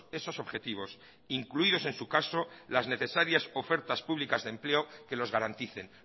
esos objetivos incluidos en su caso las necesarias ofertas públicas de empleo que los garanticen